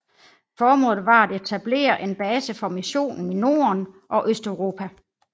Formålet var at etablere en base for missionen i Norden og Østeuropa